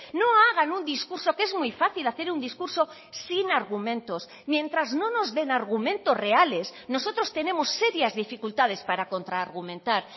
no hagan un discurso que es muy fácil hacer un discurso sin argumentos mientras no nos den argumentos reales nosotros tenemos serias dificultades para contraargumentar